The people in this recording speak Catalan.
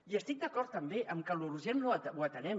i estic d’acord també amb que l’urgent ho atenem